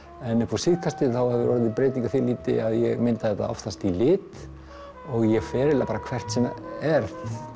en upp á síðkastið hefur orðið breyting að því leyti að ég mynda þetta oftast í lit og ég fer eiginlega bara hvert sem er